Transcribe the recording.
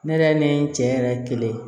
Ne yɛrɛ ni n cɛ yɛrɛ ye kelen ye